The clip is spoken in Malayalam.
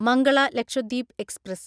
മംഗള ലക്ഷദ്വീപ് എക്സ്പ്രസ്